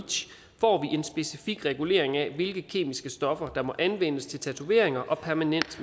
en specifik regulering af hvilke kemiske stoffer der må anvendes til tatoveringer og permanent